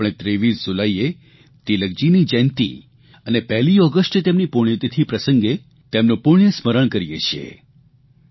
આપણે 23 જુલાઇએ તિલકજીની જયંતિ અને પહેલી ઓગષ્ટે તેમની પુણ્યતિથિ પ્રસંગે તેમનું પુણ્યસ્મરણ કરીએ છીએ